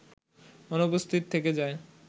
অনুপস্থিত থেকে যায়